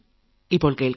മനസ്സ് പറയുന്നത് 2